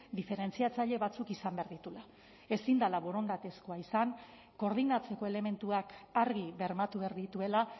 diferentziatzaile batzuk izan behar dituela ezin dela borondatezkoa izan koordinatzeko elementuak argi bermatu behar dituela